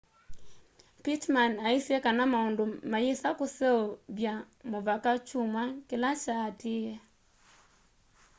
pittman aisye kana maundu mayĩsa kũseũvya mũvaka kyũmwa kĩla kyaatĩe